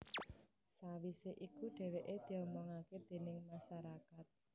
Sawisé iku dhèwèké diomongaké déning masarakat